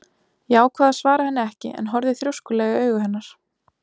Ég ákvað að svara henni ekki en horfði þrjóskulega í augu hennar.